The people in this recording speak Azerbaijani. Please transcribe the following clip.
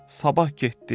Sabah getdi.